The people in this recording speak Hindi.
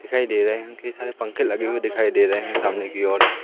दिखाई दे रहे हैं कई सारे पंखे लगे हुए दिखाई दे रहे है सामने की ओर।